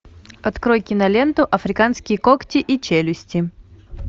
открой киноленту африканские когти и челюсти